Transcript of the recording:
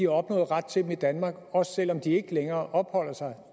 opnået ret til dem i danmark også selv om de ikke længere opholder sig